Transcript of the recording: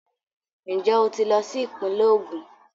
Njẹ o tí lọ sí ìpínlẹ̀ Ogún?